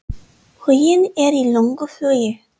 Huginn er í löngu flugi.